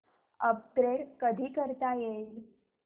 upgrade कधी करता येईल